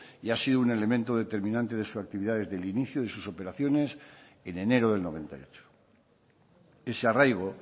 y ha sido un elemento determinante de su actividad desde el inicio de sus operaciones en enero del noventa y ocho ese arraigo